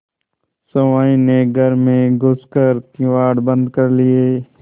सहुआइन ने घर में घुस कर किवाड़ बंद कर लिये